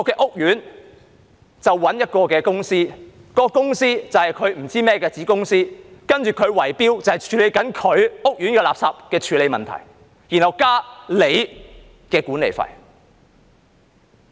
屋苑找來一間公司或甚麼子公司，接着它便以圍標方式承接屋苑的垃圾處理問題，然後增加管理費。